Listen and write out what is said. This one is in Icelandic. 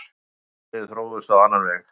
Málin þróuðust á annan veg.